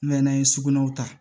n'an ye sugunɛw ta